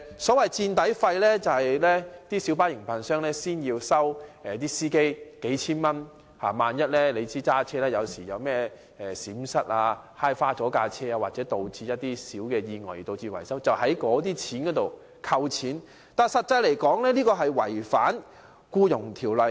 所謂的"墊底費"是小巴營辦商事先向司機收取數千元的費用，他們駕車時萬一有任何閃失，或因小意外而導致車輛損壞需要維修，維修費便從"墊底費"中扣除，但這做法違反《僱傭條例》。